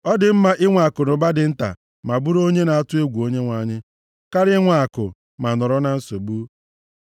Ọ dị mma inwe akụnụba dị nta ma bụrụ onye na-atụ egwu Onyenwe anyị, karịa inwe akụ ma nọrọ na nsogbu.